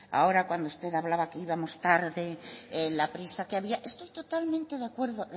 ahora cuando usted hablaba que íbamos tarde la prisa que había estoy totalmente de acuerdo